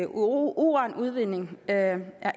uranudvinding er